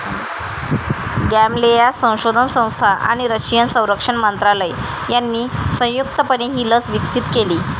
Gamaleya संशोधन संस्था आणि रशियन संरक्षण मंत्रालय यांनी संयुक्तपणे ही लस विकसित केली